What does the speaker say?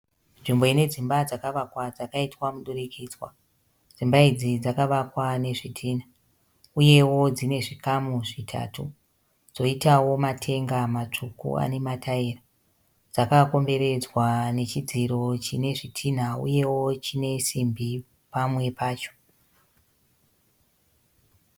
Nzvimbo ine dzimba dzakavakwa dzakaitwa mudurikidzwa. Dzimba idzi dzakavakwa nezvidhina uyewo dzine zvikamu zvitatu, dzoitawo matenga matsvuku ane mataira. Dzakakomberedzwa nechidziro chine zvidhina uyewo chine simbi pamwe pacho.